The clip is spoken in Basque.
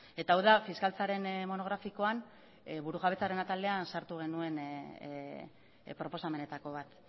eta hau da fiskaltzaren monografikoan burujabetzaren atalean sartu genuen proposamenetako bat